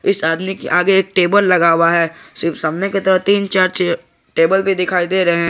इस आदमी के आगे एक टेबल लगा हुआ है। सामने की ओर तीन चार चेयर टेबल भी दिखाई दे रहे हैं।